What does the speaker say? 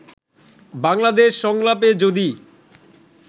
বাংলাদেশ সংলাপে যদি